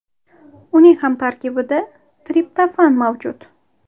Uning ham tarkibida triptofan mavjud.